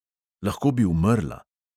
Lahko bi umrla …